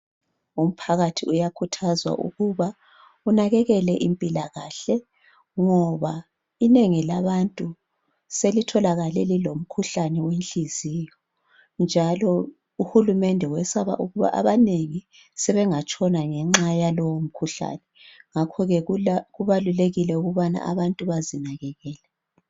Umphakathi uyakhuthazwa ukuba unakekele impilakahle ngoba inengi labantu selitholakale lilomkhuhlane wenhliziyo njalo uhulumende wesaba ukuba abanengi sebengatshona ngenxa yalowomkhuhlane ngakho ke kubalulekile ukuba abantu bazinakekele.